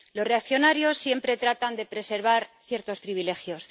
Los reaccionarios siempre tratan de preservar ciertos privilegios.